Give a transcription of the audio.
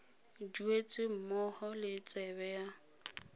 duetse mmogo le tsebe ya